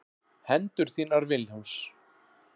Hendur þínar Vilhjálms.